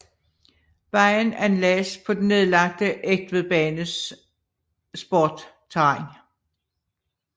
Vejen anlagdes på den nedlagte Egtvedbanes sporterræn